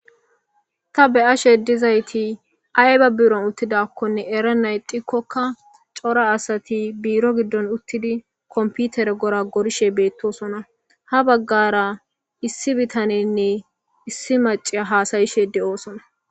Ta be,ashe dizayisi ayiba biron utidako erenan ixikoka co,ra asati biro gidon utidi kompitere goragorishe betosona ha bagara issi bitane nne issi Mac,iya hasayashe de, osona